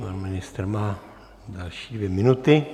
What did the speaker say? Pan ministr má další dvě minuty.